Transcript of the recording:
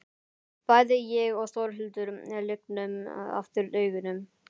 Bæði ég og Þórhildur lygnum aftur augunum.